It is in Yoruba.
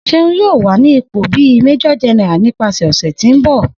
Seun yoo wa ni ipo bi Major General nipasẹ ọsẹ ti n bọ.